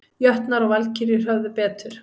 Jötnar og Valkyrjur höfðu betur